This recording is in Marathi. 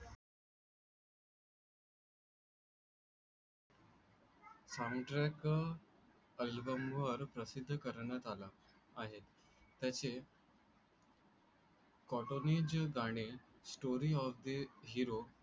फ्लौनट्रेका अल्बमवर प्रसिद्ध करण्यात आला आहे. त्याचे कोटोनीज गाणे स्टोरी ऑफ द हिरो